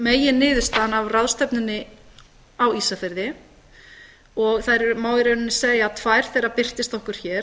megin niðurstaðan af ráðstefnunni á ísafirði og það má í rauninni segja að tvær þeirra birtist okkur hér